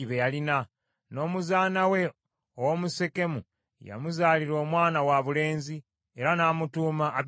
N’omuzaana we ow’omu Sekemu yamuzaalira omwana wabulenzi, era n’amutuuma Abimereki.